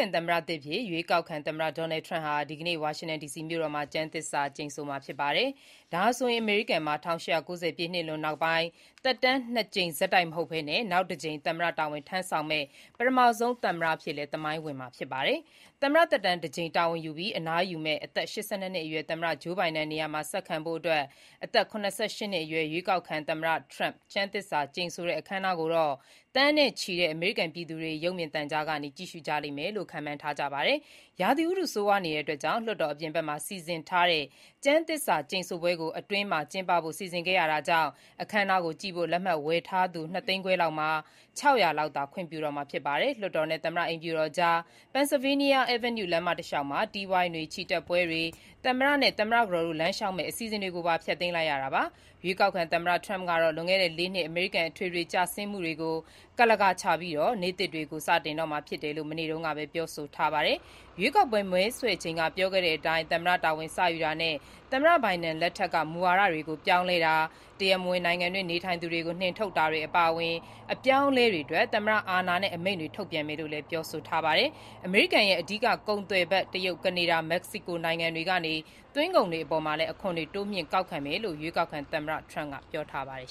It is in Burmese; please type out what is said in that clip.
န်သမ္မတသစ်အဖြစ် ရွေးကောက်ခံသမ္မတ Donald Trump ဟာ ဒီကနေ့ ဝါရှင်တန် ဒီစီမြို့တော်မှာ ကျမ်းသစ္စာကျိန်ဆိုမှာ ဖြစ်ပါတယ်။ ဒါဟာဆိုရင် အမေရိကန်မှာ ၁၈၉၀ ပြည့်လွန်နှစ်တွေနောက်ပိုင်း သက်တမ်း ၂ ကြိမ် ဆက်တိုက် မဟုတ်ဘဲ နောက်တကြိမ် သမ္မတတာဝန် ထမ်းဆောင်မယ့် ပထမဆုံး သမ္မတ အဖြစ်နဲ့လည်း သမိုင်းဝင်မှာပါ။ သမ္မတသက်တမ်း တကြိမ် တာဝန်ယူပြီး အနားယူမယ့် အသက် ၈၂ နှစ်အရွယ် သမ္မတ Joe Biden နေရာမှာ ဆက်ခံဖို့ အသက် ၇၈ နှစ်အရွယ် ရွေးကောက်ခံသမ္မတ Trump ကျမ်းသစ္စာကျိန်ဆိုတဲ့ အခမ်းအနားကိုတော့ သန်းနဲ့ချီတဲ့ အမေရိကန်ပြည်သူတွေ ရုပ်မြင်သံကြားကနေ ကြည့်ရှုကြလိမ့်မယ်လို့လည်း ခန့်မှန်းထားကြပါတယ်။ ရာသီဥတု ဆိုးရွားနေတာကြောင့် လွှတ်တော်အပြင်ဘက်မှာ စီစဉ်ထားတဲ့ ကျမ်းသစ္စာကျိန်ဆိုပွဲကို အတွင်းမှာ ကျင်းပဖို့ စီစဉ်ခဲ့ရတာကြောင့်၊ အခမ်းအနားကိုကြည့်ဖို့ လက်မှတ်ဝယ်ယူထားသူ ၂ သိန်းခွဲလောက်မှာ ၆၀၀ လောက်သာ ခွင့်ပြုတော့မှာဖြစ်ပါတယ်။ လွှတ်တော်နဲ့ သမ္မတ အိမ်ဖြူတော်ကြား Pennsylvania Avenue လမ်းမတလျှောက်မှာ တီးဝိုင်းတွေ၊ ချီတက်ပွဲတွေ၊ သမ္မတနဲ့ သမ္မတကတော်တို့လမ်းလျှောက်မယ့် အစီအစဉ်ကိုပါ ဖျက်သိမ်းလိုက်ရတာပါ။ ရွေးကောက်ခံသမ္မတ Trump ကတော့ လွန်ခဲ့တဲ့ ၄ နှစ် အမေရိကန်မှာ အထွေထွေ ကျဆင်းမှုတွေကို ကန့်လန့်ကာချပြီး နေ့သစ်တွေကို စတင်တော့မှာဖြစ်တယ်လို့ မနေ့တုန်းကပဲ ပြောဆိုထားပါတယ်။ ရွေးကောက်ပွဲ မဲဆွယ်ချိန်က ပြောခဲ့တဲ့အတိုင်း သမ္မတတာဝန် စယူတာနဲ့ သမ္မတဘိုင်ဒင်လက်ထက်က မူဝါဒတွေကို ပြောင်းလဲတာ၊ တရားမဝင် နိုင်ငံတွင်း နေထိုင်သူတွေကို နှင်ထုတ်တာတွေ အပါအဝင် အပြောင်းအလဲတွေအတွက် သမ္မတအာဏာနဲ့ အမိန့်တွေ ထုတ်ပြန်မယ်လို့လည်း ပြောဆိုထားပါတယ်။ အမေရိကန်ရဲ့ အဓိက ကုန်သွယ်ဖက် တရုတ်၊ ကနေဒါနဲ့ မက္ကဆီ နိုင်ငံတွေက သွင်းကုန်တွေအပေါ် အခွန်တိုးမြှင့်ကောက်ခံမယ်လို့လည်း ရွေးကောက်ခံသမ္မတ Trump က ပြောထားပါတယ်